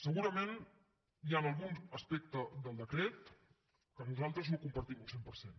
segurament hi ha algun aspecte del decret que nosaltres no compartim al cent per cent